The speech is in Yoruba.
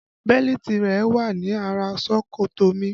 Bẹ́lítì rẹ wà ní ara ṣòkòtò mi